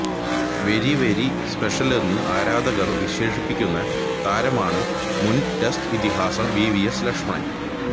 very very സ്പെഷ്യലെന്നു ആരാധകര് വിശേഷിപ്പിക്കുന്ന താരമാണ് മുന് ടെസറ്റ് ഇതിഹാസം വിവിഎസ് ലക്ഷ്മണ്